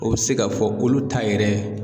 O be se k'a fɔ k'olu ta yɛrɛ